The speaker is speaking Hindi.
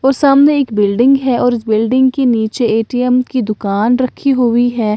और सामने एक बिल्डिंग है और बिल्डिंग के नीचे ए_टी_एम की दुकान रखी हुई है।